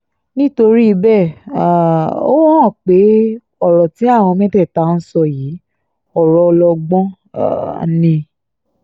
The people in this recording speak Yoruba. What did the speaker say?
nítorí bẹ́ẹ̀ um ó hàn pé ọ̀rọ̀ tí àwọn mẹ́tẹ̀ẹ̀ta ń sọ yìí ọ̀rọ̀ ọlọgbọ́n um ni